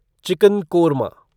chicken korma